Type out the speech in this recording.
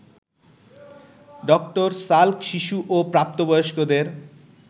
ডঃ Salk শিশু ও প্রাপ্তবয়স্কদের